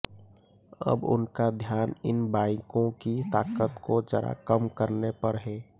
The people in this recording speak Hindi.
अब उनका ध्यान इन बाइकों की ताकत को जरा कम करने पर है